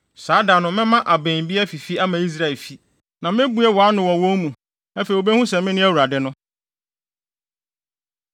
“Saa da no mɛma abɛn bi afifi ama Israelfi, na mebue wʼano wɔ wɔn mu. Afei wobehu sɛ mene Awurade no.”